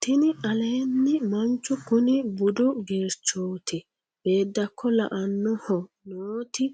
tini aleennimanchu kuni budu geerchooti beedakko la'annoho nooti